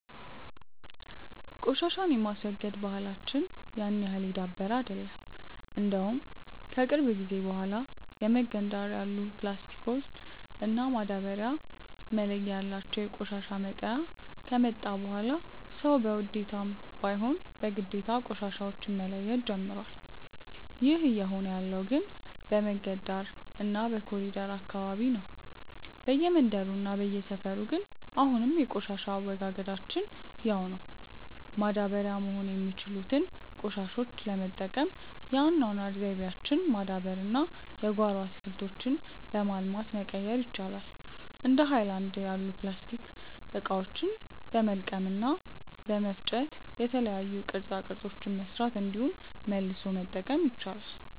ቆሻሻን የማስወገድ ባህላች ያን ያህል የዳበረ አይደለም። እንደውም ከቅርብ ጊዜ በኋላ የመንገድ ዳር ያሉ ፕላስቲክ እና ማዳበርያ መለያ ያላቸው የቆሻሻ መጣያ ከመጣ በኋላ ሰዉ በውዴታም ባይሆን በግዴታ ቆሻሻዎች መለየት ጀምሮዋል። ይህ እየሆነ ያለው ግን በመንገድ ዳር እና በኮሪደሩ አካባቢ ነው። በየመንደሩ እና በየሰፈሩ ግን አሁንም የቆሻሻ አወጋገዳችን ያው ነው። ማዳበሪያ መሆን የሚችሉትን ቆሻሾች ለመጠቀም የአኗኗር ዘይቤያችንን ማዳበር እና የጓሮ አትክልቶችን በማልማት መቀየር ይቻላል። እንደ ሀይለናድ ያሉ የፕላስቲክ እቃዎችን በመልቀም እና በመፍጨ የተለያዩ ቅርፃ ቅርፆችን መስራት እንዲሁም መልሶ መጠቀም ይቻላል።